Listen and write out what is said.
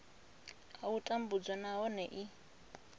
a u tambudzwa nahone i